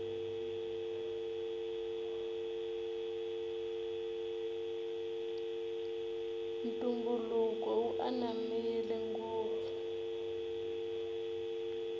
ntumbuluko wu ananmile ngopfu